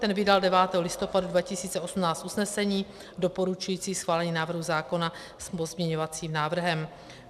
Ten vydal 9. listopadu 2018 usnesení doporučující schválení návrhu zákona s pozměňovacím návrhem.